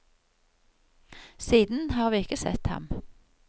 Siden har vi ikke sett ham.